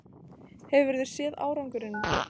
Hefurðu séð árangurinn?